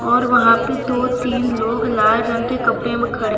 और वहां पे दो तीन लोग लाल रंग के कपड़े मे खड़े --